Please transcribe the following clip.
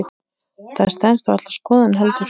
Það stenst varla skoðun heldur.